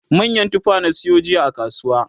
manyan tufa na sayo jiya a kasuwa